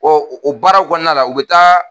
Ɔ o baara kɔnɔna la u bɛ taa